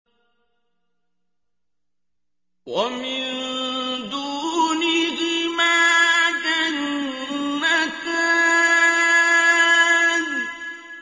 وَمِن دُونِهِمَا جَنَّتَانِ